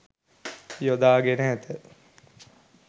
යොදාගෙන ඇත.